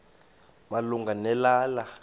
malunga ne lala